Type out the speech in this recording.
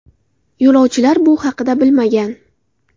Yo‘lovchilar bu haqda bilmagan.